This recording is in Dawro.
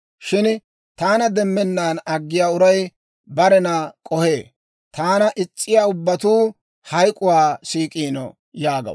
Shin taana demmennaan aggiyaa uray barena k'ohee; taana is's'iyaa ubbatuu, hayk'k'uwaa siik'iino» yaagaw.